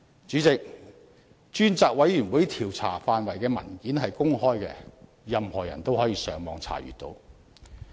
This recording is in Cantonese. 主席，專責委員會調查範圍的文件是公開的，任何人都可以上網查閱。